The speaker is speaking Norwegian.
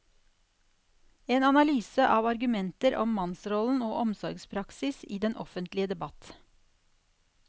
En analyse av argumenter om mannsrollen og omsorgspraksis i den offentlige debatt.